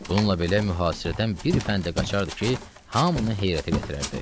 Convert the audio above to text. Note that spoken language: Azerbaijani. Bununla belə mühasirədən bir fəndə qaçardı ki, hamını heyrətə gətirərdi.